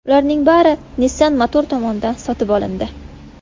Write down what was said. Ularning bari Nissan Motor tomonidan sotib olindi.